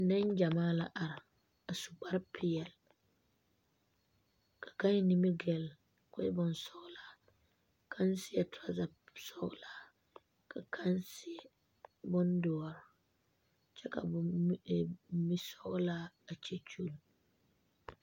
Nengyamaa la are a su kpare pɛɛle , ka kaŋ eŋ nimikyaane kɔɔ e bonsɔglaa ka kaŋ seɛ trozer sɔglaa ka kaŋa seɛ bon doɔre kyɛ ka mi sɔglaa a kyɛkyol.